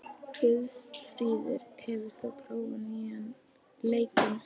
Guðfríður, hefur þú prófað nýja leikinn?